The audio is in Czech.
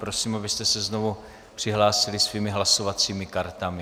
Prosím, abyste se znovu přihlásili svými hlasovacími kartami.